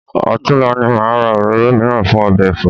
Ọ̀tunla ni màá ra òróró mìíràn fún ọbẹ̀ ẹ̀fọ́